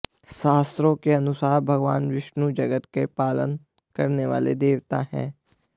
शास्त्रों के अनुसार भगवान विष्णु जगत का पालन करने वाले देवता हैं